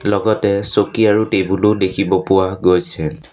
লগতে চকী আৰু টেবুলো ও দেখিব পোৱা গৈছে।